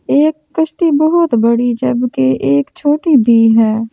एक कश्ती बहोत बड़ी जब के एक छोटी भी है।